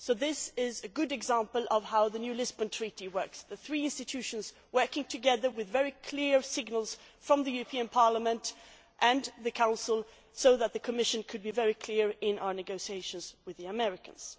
This is a good example of how the new Lisbon Treaty works the three institutions working together with very clear signals from the European Parliament and the Council so that the Commission could be very clear in its negotiations with the Americans.